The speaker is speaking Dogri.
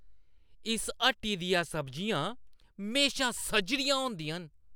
इस हट्टी दियां सब्जियां म्हेशा सजरियां होंदियां न!